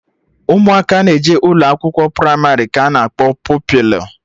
Ụmụaka na-eje ụlọakwụkwọ pramarị ka anọ akpọ Pupilụ